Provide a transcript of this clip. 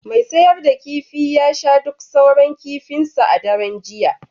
mai sayar da kifi ya sha duk sauran kifinsa a daren jiya